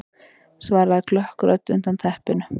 svaraði klökk rödd undan teppinu.